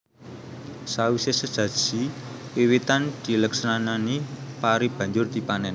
Sawise sesaji wiwitan dileksanani pari banjur dipanen